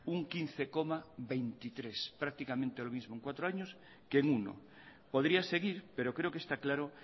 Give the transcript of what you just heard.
un quince coma veintitrés por ciento prácticamente lo mismo en cuatro años que en uno podría seguir pero creo que está claro